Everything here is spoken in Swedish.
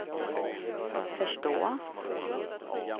förstå